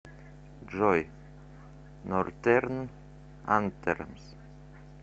джой нортерн антемс